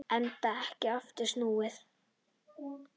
Enda ekki aftur snúið.